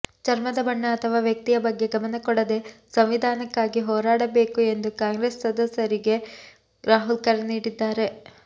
ಚರ್ಮದ ಬಣ್ಣ ಅಥವಾ ವ್ಯಕ್ತಿಯ ಬಗ್ಗೆ ಗಮನ ಕೊಡದೇ ಸಂವಿಧಾನಕ್ಕಾಗಿ ಹೋರಾಡಬೇಕು ಎಂದು ಕಾಂಗ್ರೆಸ್ ಸಂಸದರಿಗೆ ರಾಹುಲ್ ಕರೆ ನೀಡಿದ್ದಾರೆ